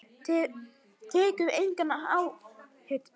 Tekur enga áhættu.